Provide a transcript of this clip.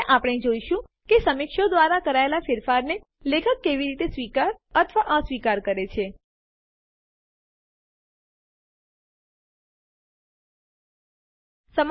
હવે આપણે જોઈશું કે સમીક્ષકો દ્વારા કરાયેલ ફેરફારો ને લેખક કેવી રીતે સ્વીકાર અથવા અસ્વીકાર કરી શકે